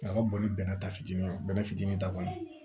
A ka boli ta fitini bɛrɛ fitinin ta kɔni